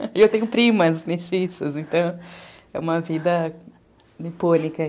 E eu tenho primas mestiças, então é uma vida nipônica.